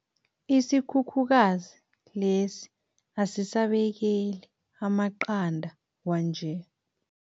Isikhukhukazi lesi asisabekeli amaqanda kwanje.